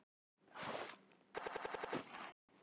hvernig starfar boðskiptakerfi líkamans